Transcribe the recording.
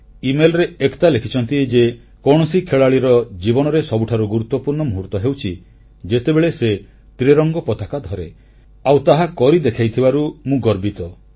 email ରେ ଏକତା ଲେଖିଛନ୍ତି ଯେ କୌଣସି ଖେଳାଳିର ଜୀବନରେ ସବୁଠାରୁ ଗୁରୁତ୍ୱପୂର୍ଣ୍ଣ ମୁହୂର୍ତ୍ତ ହେଉଛି ଯେତେବେଳେ ସେ ତ୍ରିରଙ୍ଗ ପତାକା ଧରେ ଆଉ ମୁଁ ତାହାକରି ଦେଖାଇଥିବାରୁ ମୁଁ ଗର୍ବିତ